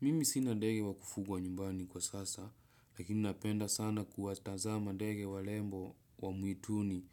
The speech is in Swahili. Mimi sina ndege wa kufugwa nyumbani kwa sasa, lakini napenda sana kuwatazama ndege warembo wa mwituni